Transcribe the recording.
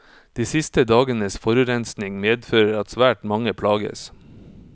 De siste dagenes forurensning medfører at svært mange plages.